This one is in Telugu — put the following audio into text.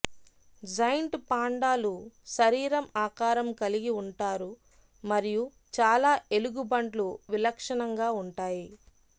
జైంట్ పాండాలు శరీరం ఆకారం కలిగి ఉంటారు మరియు చాలా ఎలుగుబంట్లు విలక్షణంగా ఉంటాయి